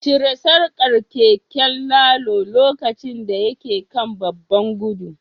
Cire sarkar keken Lalo lokacin da yake kan babban gudu